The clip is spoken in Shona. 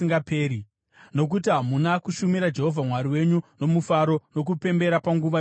Nokuti hamuna kushumira Jehovha Mwari wenyu nomufaro nokupembera panguva yokubudirira,